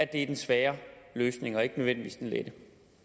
det er den svære løsning og ikke nødvendigvis den lette